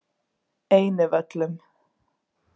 Einivöllum